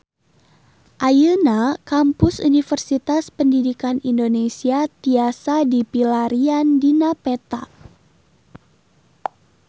Ayeuna Kampus Universitas Pendidikan Indonesia tiasa dipilarian dina peta